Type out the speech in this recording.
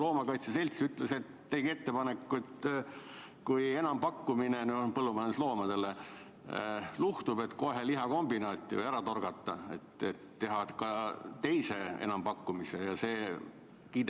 Loomakaitse selts tegi ettepaneku, et kui põllumajandusloomade enampakkumine luhtub, võiks teha ka teise enampakkumise, mitte kohe loomi lihakombinaati ära viia.